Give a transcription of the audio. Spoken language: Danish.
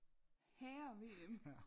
Herre VM